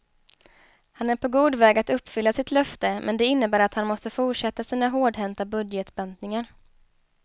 Han är på god väg att uppfylla sitt löfte men det innebär att han måste fortsätta sina hårdhänta budgetbantningar.